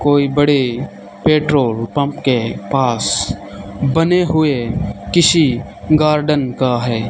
कोई बड़े petrol pump के पास बने हुए किसी गार्डन का है।